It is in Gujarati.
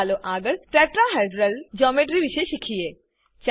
ચાલો આગળ ટેટ્રાહેડ્રલ જ્યોમેટ્રી ટેટ્રાહેડ્રલ જોમેટ્રી વિષે શીખીએ